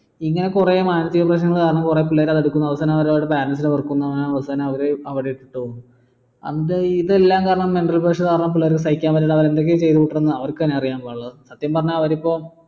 ഇങ്ങനെ കുറെ മാനസിക പ്രശ്നങ്ങൾ കാരണം കുറെ പിള്ളേര് അത് എടുക്കുന്നു അവസാനം അവർ അവരുടെ parents നെ വെറുക്കുന്നു അങ്ങനെ അവരെ അവിടെ ഇട്ടിട്ടു പോകുന്നു ഇതെല്ലം കാരണം mental pressure കാരണം പിള്ളേർ സഹിക്കാൻ പറ്റാണ്ട് അവർ എന്തൊക്കെയ ചെയ്തു കൂട്ടണതെന്ന് അവർക്ക് തന്നെ അറിയില്ല സത്യം പറഞ്ഞ അവരിപ്പോ